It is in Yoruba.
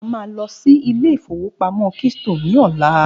A máa lọ sí Ilé-ìfowópamó keystone ní ọ̀la